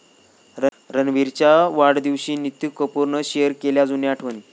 रणबीरच्या वाढदिवशी नीतू कपूरनं शेअर केल्या जुन्या आठवणी